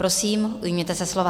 Prosím, ujměte se slova.